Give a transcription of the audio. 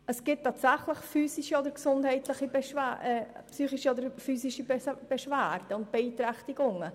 Es gibt tatsächlich physische oder physische Beschwerden und Beeinträchtigungen.